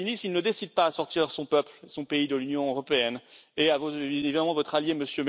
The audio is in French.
Salvini, s'il ne décide pas à sortir son peuple, son pays de l'Union européenne, et évidemment votre allié, M.